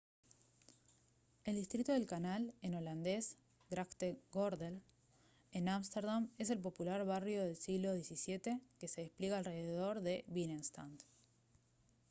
el distrito del canal en holandés grachtengordel en ámsterdam es el popular barrio del siglo xvii que se despliega alrededor de binnenstad